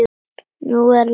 Nú er lag.